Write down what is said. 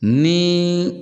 Ni